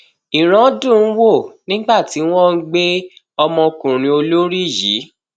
ìran dùn ún wò nígbà tí wọn ń gbé ọmọkùnrin olórí yìí